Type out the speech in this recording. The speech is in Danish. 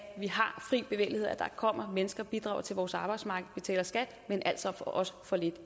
vi har fri bevægelighed at der kommer mennesker og bidrager til vores arbejdsmarked og betaler skat men altså også får lidt